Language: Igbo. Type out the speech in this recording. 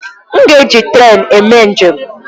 M ga-eji trèn eme njem.